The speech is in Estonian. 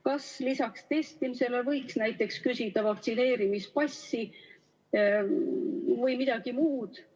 Kas lisaks testimisele võiks näiteks küsida vaktsineerimispassi või midagi muud?